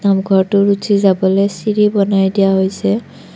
নামঘৰটো উঠি যাবলৈ চিৰি বনাই দিয়া হৈছে।